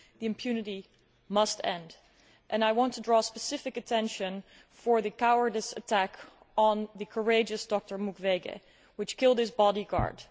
The impunity must end, and I want to draw specific attention to the cowardly attack on the courageous Dr Mukwege, which killed his bodyguard.